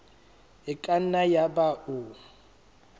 e ka nna yaba o